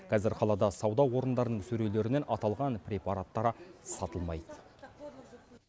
қазір қалада сауда орындарының сөрелерінен аталған препараттар сатылмайды